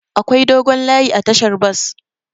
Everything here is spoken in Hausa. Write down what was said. Akwai dogon layi a tashar bas.